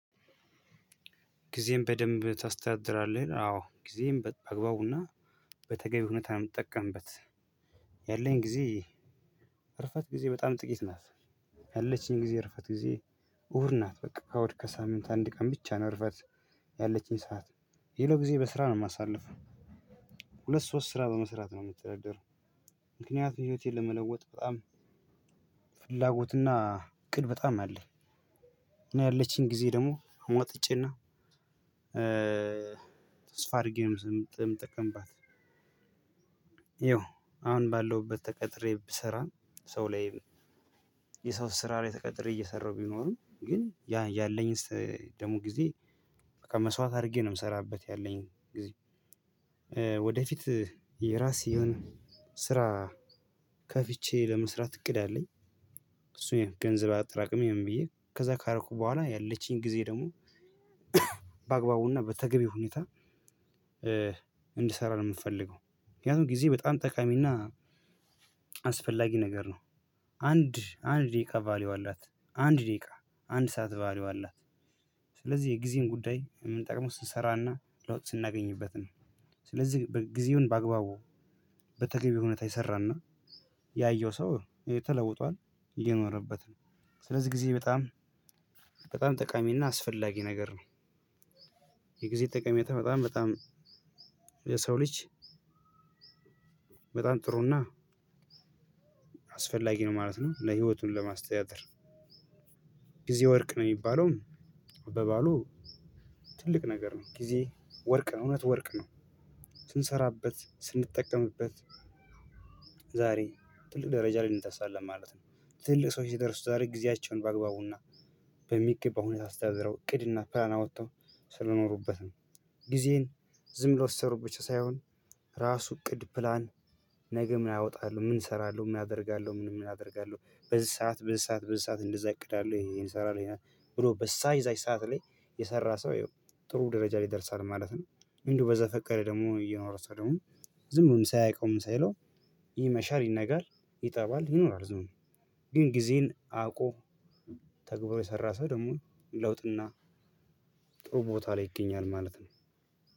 ጊዜን በደምብ ታስተዳድራለህ? አዎ ጊዜን በአግባቡና በተገቢ ሁኔታ ነው ምትጠቀምበት። ያለኝ ጊዜ እርፈት ጊዜ በጣም ጥቂት ናት። ያለችኝ ጊዜ እርፈት ጊዜ። እሁድ ናት በቃ እሁድ ከሳምንት አንድ ቀን ብቻ ነው። እርፈት ያለኝ ጊዜ እረፍት ጊዜ በጣም ጥቂት ናት ያለችኝ። ጊዜ እረፍት ጊዜ እሁድ ናት በቃ እሁድ ከሳምንት አንድ ቀን ብቻ ነው። እረፍት ያለችኝ ሰዓት የሌለው ጊዜ በስራ ነው የማሳልፍ ሁለት ሶስት ስራ በመስራት ነው። የምትደረገው ምክንያቱም ህይወቴን ለመለወጥ በጣም ፍላጎትና ቅድ በጣም አለኝ እና ያለችኝ ጊዜ ደግሞ አሟጥጬና በቃ መስዋዕት አርጌ ነው ምሰራበት ያለኝ ጊዜ። ወደፊት የራስ የሆነ ስራ ከፍቼ ለመስራት እቅድ አለኝ። እሱን ገንዘብ አጣራቅሜ ምን ብዬ ከዛ ካረኩ በኋላ ያለችኝ ጊዜ ደግሞ በአግባቡና በተገቢ ሁኔታ። እንድሰራ ነው ምፈልገው ምክንያቱም ጊዜ በጣም ጠቃሚና አስፈላጊ ነገር ነው። አንድ አንድ ደቂቃ ቫልዩ አላት አንድ ደቂቃ አንድ ሰዓት ቫልዩ አላት። ስለዚህ የጊዜን ጉዳይ የምንጠቀመው ስንሰራና ለውጥ ስናገኝበት ነው። ስለዚህ ጊዜውን በአግባቡ በተገቢ ሁኔታ የሰራና ያየው ሰው ተለውጧል እየኖረበት ነው። ስለዚህ ጊዜ በጣም በጣም ጠቃሚና አስፈላጊ ነገር ነው። የጊዜ ጠቃሜታ በጣም በጣም የሰው ልጅ በጣም ጥሩና አስፈላጊ ነው። ማለትም ለህይወቱም ለማስተዳደር ጊዜ ወርቅ ነው የሚባለውም በባህሉ ትልቅ ነገር ነው። ጊዜ ወርቅ ነው እውነት ወርቅ ነው። ስንሰራበት ስንጠቀምበት ዛሬ ትልቅ ደረጃ ላይ እንደርሳለን ማለት ነው። ትልቅ ሰዎች የደረሱት ዛሬ ጊዜያቸውን በአግባቡና በሚገባው ሁኔታ አስተደድረው እቅድና ፕላን አውጥተው ስለኖሩበት ነው። ጊዜን ዝም ብሎ ስሩ ብቻ ሳይሆን ራሱ እቅድ ፕላን። ነገ ምን አወጣለሁ ምን ሰራለሁ ምን አደርጋለሁ ምን ምን አደርጋለሁ በዚህ ሰዓት በዚህ ሰዓት በዚህ ሰዓት እንደዛ አቅዳለሁ ይሄ ይሄን ሰራለው ብሎ በዘ እዛች ሰዓት ላይ የሰራ ሰው ጥሩ ደረጃ ላይ ይደርሳል ማለት ነው። እንዲሁ በዘፈቀደ ደግሞ የኖረ ሰው ደግሞ ዝም ብሎ ሳያውቀው ምን ሳይለው ይመሻል ይነጋል። ይጠባል ይኖራል ዝም ብሎ ግን ጊዜን አውቆ ተግብሮ የሰራ ሰው ደግሞ ለውጥና ጥሩ ቦታ ላይ ይገኛል ማለት ነው።